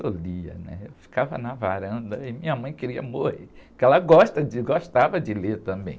Eu lia, né? Eu ficava na varanda e minha mãe queria morrer, porque ela gosta de, gostava de ler também.